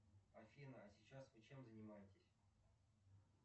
афина а сейчас вы чем занимаетесь